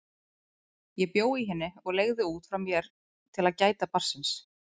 Ég bjó í henni og leigði út frá mér til að láta gæta barnsins.